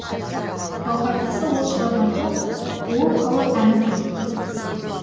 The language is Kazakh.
гауһартасты ол шығарған жоқ ол халық әні дейді